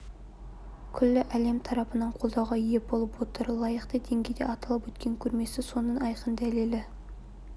күллі әлем тарапынан қолдауға ие болып отыр лайықты деңгейде аталып өткен көрмесі соның айқын дәлелі